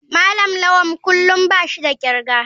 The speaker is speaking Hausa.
malam lawal kullum bashi da kirga.